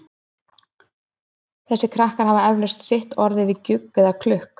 Þessir krakkar hafa eflaust sitt orð yfir gjugg eða klukk.